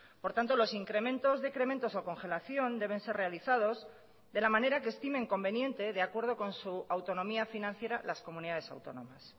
por tanto los incrementos decrementos o congelación deben ser realizados de la manera que estimen conveniente de acuerdo con su autonomía financiera las comunidades autónomas